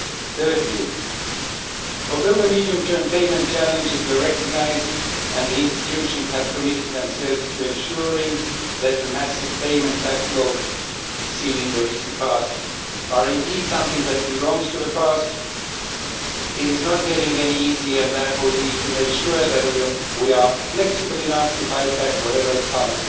Thirdly, although the medium term payment challenges were recognised and the institutions have committed themselves to ensuring that the massive payment backlog seen in the recent past are indeed something that belongs to the past, it is not getting any easier, and therefore we need to make sure that we are flexible enough to fight back against whatever comes